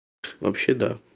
вообще да